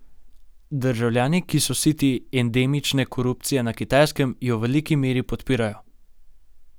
Državljani, ki so siti endemične korupcije na Kitajskem, jo v veliki meri podpirajo.